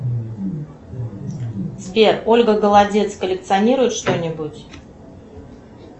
сбер ольга голодец коллекционирует что нибудь